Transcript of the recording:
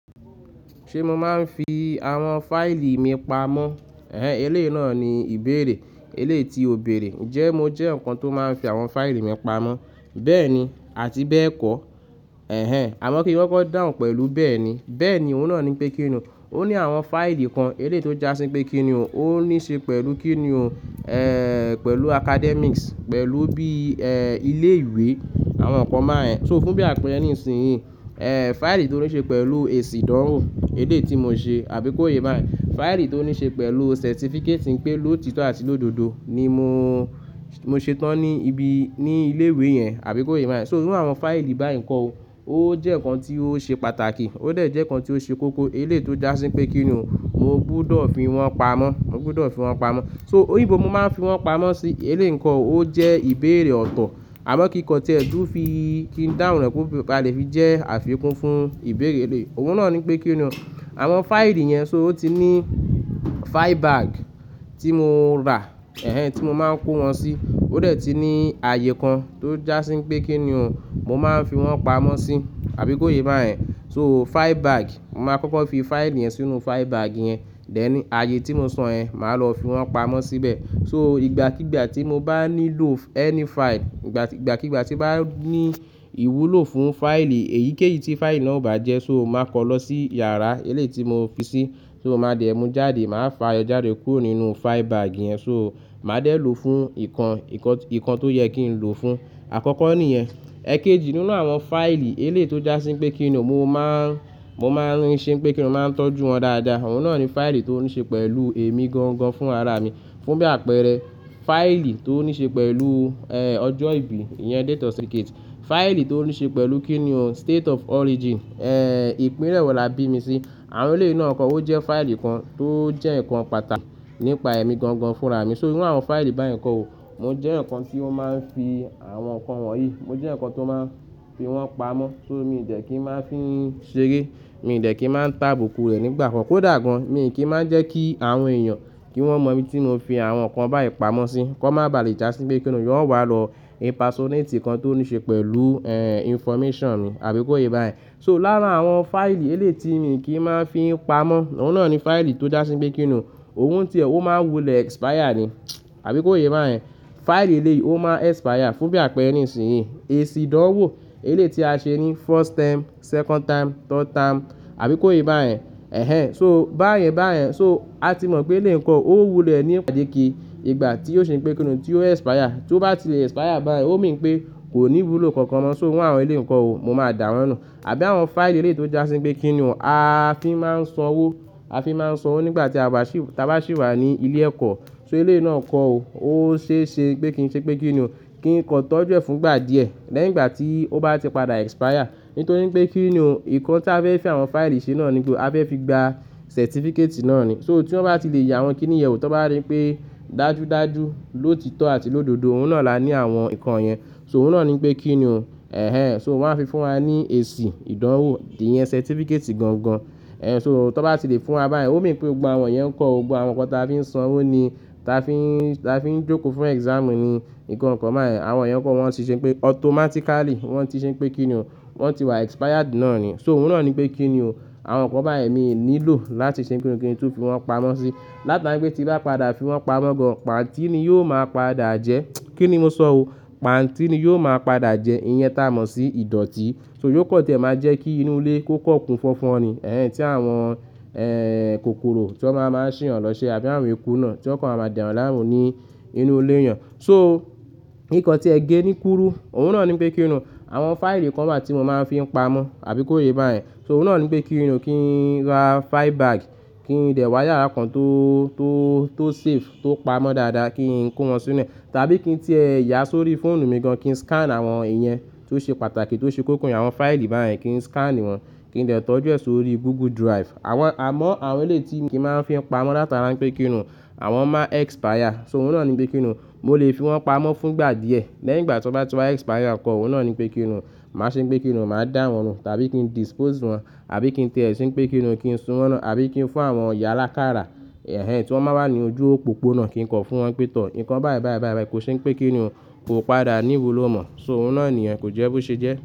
Ṣe mo maa n fi awọn fáìlì mi pamọ? Ehen eléyìí naa ni ìbéèrè, eléyìí ti o béèrè jẹ mo jẹ́ nkán tó máa n fi awọn fáìlì mi pamọ, bẹ́ẹ̀ni àti bẹ́ẹ̀kọ́. Ehen àmọ́ kí n gbọ́dọ̀ dáhùn pẹlu bẹ́ẹ̀ni, bẹ́ẹ̀ni oun naa ni pé kíni ó ní awọn fáìlì kan eléyìí tó já sí pé kíni ó ní ṣe pẹlu kíni ó, ehen pẹlu academics, pẹlu bí ehen ilé ìwé àwọn nkán mọ́ ẹ. So fún bí àpẹrẹ nísìnyí, ehen fáìlì tó ní ṣe pẹlu èsì ìdánwò eléyìí tí mo ṣe àbí kó yé bá ẹ. Fáìlì tó ní ṣe pẹlu certificate pé lóòtọ́ àti lódodo ni mó, mó ṣetán ní ibi, ní ilé ìwé yẹn àbí kó yé bá ẹ. So irú awọn fáìlì bá yẹn kọ́ o, o jẹ́ nkán tí ó ṣe pàtàkì ó dẹ̀ jẹ́ nkán tí ó ṣe kókó eléyìí tó já sí pé kíni ó, mó gbúdọ̀ fi wọn pamọ́, mó gbúdọ̀ fi wọn pamọ́. So òri ibó mó máa n fi wọn pamọ́ sí eléyìí nkán o jẹ́ ìbéèrè ọ̀tọ̀. Àmọ́ kí nkán tí ẹ tùú fi kí n dáhùn rẹ pé a lè fi jẹ́ àfikún fún ìbéèrè eléyìí, oun naa ni pé kíni ó. Awọn fáìlì yẹn so ó ti ní file bag tí mo rà, ehen tí mo máa n kó wọn sí. O dẹ̀ ti ní ààyè kan tó já sí pé kíni ó, mó máa n fi wọn pamọ́ sí àbí kó yé bá ẹ. So file bag, mó máa kọ́kọ́ fi fáìlì yẹn sínú file bag yẹn, dení ààyè tí mó sọ̀ọ́ yẹn máa lọ fi wọn pamọ́ síbẹ̀. So ìgbàkígbà tí mó bá nílò ẹ́ní fáìlì, ìgbàkígbà tí bá ní ìwúlò fún fáìlì èyíkéyìí tí fáìlì náà bá jẹ́ so mó máa kọ lọ sí yàrá eléyìí tí mo fi sí, so mó máa dẹ̀ mú jáde máa fà á jáde kúrò nínú file bag yẹn. So máa dẹ̀ lò fún nkán, nkán tó yẹ kí n lò fún, àkọ́kọ́ ni yẹn. Ẹ̀kẹjì nínú awọn fáìlì eléyìí tó já sí pé kíni ó, mó máa n, mó máa n ṣe pé kíni ó máa n tọ́jú wọn dáadáa. Oun naa ni fáìlì tó ní ṣe pẹlu èmi gangan fún ara mi. Fún bí àpẹrẹ fáìlì tó ní ṣe pẹlu ehen ọjọ́ ìbí, iyẹn date of certificate. Fáìlì tó ní ṣe pẹlu kíni ó state of origin, ehen ìpínlẹ̀ wọ̀ là bí mi sí. Awọn eléyìí náà nkán o jẹ́ fáìlì kan tó jẹ́ nkán pàtàkì nípa èmi gangan fún ara mi. So inú awọn fáìlì bá yẹn kọ́ o, mó jẹ́ nkán tí ó máa n fi awọn nkán wọ̀nyí, mó jẹ́ nkán tó máa n fi wọn pamọ́. So mi ì dẹ́ kí n máa fín ṣeré, mi ì dẹ́ kí n máa tá bùkún rẹ̀ nígbà kan. Kó dà gan mi ì kí máa jẹ́ kí awọn èeyàn kí wọn mọ̀ mí tí mó fi awọn nkán bá yẹn pamọ́ sí, kó má bà lè já sí pé kíni ó, wọn wà lọ impasonati nkan tó ní ṣe pẹlu ehen information mi àbí kó yé bá ẹ. So lárà awọn fáìlì eléyìí tí mi ì kí máa fín pamọ́, oun naa ni fáìlì tó já sí pé kíni ó, ohun tí ẹ, o máa wulẹ̀ expire ni àbí kó yé bá ẹ. Fáìlì eléyìí o máa expire fún bí àpẹrẹ nísìnyí, èsì ìdánwò eléyìí tí a ṣe ní first term, second term, third term àbí kó yé bá ẹ. Ehen so bá yẹn bá yẹn so a ti mọ̀ pé eléyìí nkán o wulẹ̀ ní ìpàdé kí ìgbà tí ó ṣe pé kíni ó, tí ó expire. Tí ó bá ti expire bá yẹn o mi pé kò ní ìwúlò kankan mọ́. So irú awọn eléyìí nkán o mó máa dàwọ̀nù àbí awọn fáìlì eléyìí tó já sí pé kíni ó, a fi máa n sọ ọ́, a fi máa n sọ ọ́ nígbà tí a bá sì, tí a bá sì wà ní ilé ẹ̀kọ́. So eléyìí náà nkán o, o ṣeé ṣe pé kí n ṣe pé kíni ó, kí nkán tọ́jú ẹ̀ fún ìgbà díẹ̀ lẹ́ìgba tí ó bá ti padà expire. Nítorí pé kíni ó, nkán tí a fẹ́ fi awọn fáìlì ṣe náà ni pé a fẹ́ fi gba certificate náà ni. So tí wọn bá ti lè ya wọn kíni ìyèwù tó bá rí pé dájúdájú lóòtito àti lódodo oun naa là ní awọn nkán yẹn. So oun naa ni pé kíni ó, ehen so wọn máa ń fi fún wa ní èsì ìdánwò ìyẹn certificate gangan. Ehen so tó bá ti lè fún wa bá yẹn o mi pé gbogbo awọn yẹn nkán o, gbogbo awọn nkán tí a fi máa n sọ wọn ni, tí a fín, tí a fín jókòó fún exam ni nkán nkán ba yen ẹ. Awọn yẹn kọ́ wọn ti ṣe pé automatically, wọn ti ṣe pé kíni ó, wọn ti wà expired náà ni. So oun naa ni pé kíni ó, awọn nkán bá yẹn mi ì nílò láti ṣe ki kín tu fi wọn pamọ́ sí. Látara pé tí bá padà fi wọn pamọ́ gan, pantí ni yóò máa padà jẹ́. Kíni mó sọ ó pantí ni yóò máa padà jẹ́ iyẹn táa mọ̀ sí ìdọ̀tí. So yóò kọ́ tí ẹ máa jẹ́ kí inú ilé kó kọ̀kun fọ́fọ́n ni, ehen tí awọn ehen kòkòrò tí wọn máa máa sì hàn lọ ṣe àbí awọn eku náà tí wọn kàn máa dà eyàn láàmú ní inú ilé èèyàn. So nkán tí ẹ gé ní kúrú, oun naa ni pé kíni ó, awọn fáìlì nkán bá tí mó máa n fi pamọ́ àbí kó yé bá ẹ. So oun naa ni pé kíni ó, kí n ra file bag, kí n dẹ̀ wá yàrá kan tó, tó, tó safe tó pamọ́ dáadáa kí n kó wọn sínu rẹ̀. Tàbí kí n tẹ́ ẹ yà sórí fóònù mi gan kí n scan awọn ìyẹn tó ṣe pàtàkì tó ṣe kókó ní awọn fáìlì bá yẹn kí n scan wọn kí n dẹ̀ tọ́jú ẹ̀ sórí Google Drive. Awọn àmọ́ awọn eléyìí tí mi kí máa n fi pamọ́ látara pé kíni ó, awọn máa expire. So oun naa ni pé kíni ó, mó lè fi wọn pamọ́ fún ìgbà díẹ̀ lẹ́ìgba tí wọn bá ti wà expire nkán o, oun naa ni pé kíni ó, máa ṣe pé kíni ó, máa dàwọ̀nù tàbí kí n dispose wọn àbí kí n tẹ́ ẹ ṣe pé kíni ó kí n sun wọn ina abí kí n fún awọn iya l'akáàrà, ehen tí wọn máa wà ní ojú òpópónà kí n kọ fún wọn pé tọ̀ nkán bá yẹn bá yẹn bá yẹn kó ṣe pé kíni ó, kó padà níwú ló mọ̀. So oun naa ni ẹ́n kò jẹ́ bó ṣe jẹ́